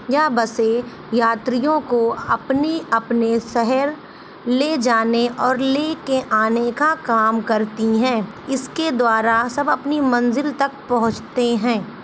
यह बसें यात्रियों को अपने-अपने शहर ले जाने और ले के आने का काम करती हैं। इसके द्वारा सब अपनी मंजिल तक पहुँचते हैं।